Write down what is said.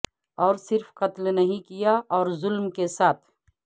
اور صرف قتل نہیں کیا اور ظلم کے ساتھ